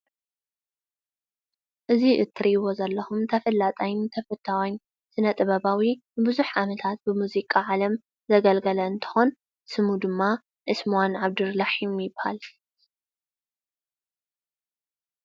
እዙይ እትርእይዎ ዘለኹም ተፈላጣይን ተፈታዋይን ስነ-ጥበባዊ ብዙሕ ዓመታት ብሙዚቃ ዓለም ዘገልገለ እንተኾን ስሙ ድማ ዑስማን ዓብደልራሕሚን ይበሃል።